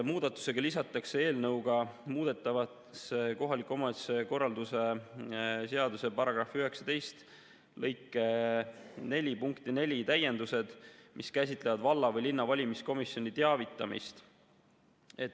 Muudatusega lisatakse eelnõuga muudetavasse kohaliku omavalitsuse korralduse seaduse § 19 lõike 4 punkti 4 täiendused, mis käsitlevad valla või linna valimiskomisjoni teavitamist.